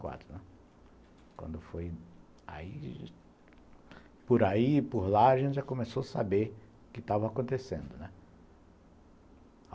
e quatro, né? Quando foi aí... Por aí e por lá a gente já começou a saber o que estava acontecendo, né.